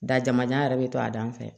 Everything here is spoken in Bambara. Dajamajan yɛrɛ bɛ to a dan fɛ